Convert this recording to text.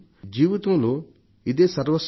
జీవితంలో ఇదే సర్వస్వమా